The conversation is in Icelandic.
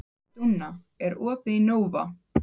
Dúnna, er opið í Nova?